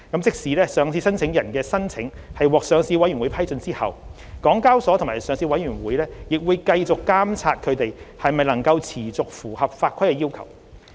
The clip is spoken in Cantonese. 即使上市申請人的申請獲上市委員會批准後，港交所及上市委員會仍會繼續監察它們能否持續符合法規的要求。